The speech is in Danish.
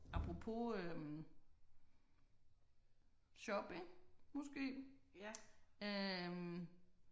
Apropos øh shopping måske? øh